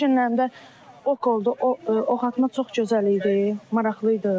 Bu günlərim də ox oldu, oxatmaq çox gözəl idi, maraqlı idi.